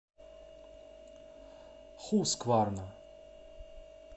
хускварна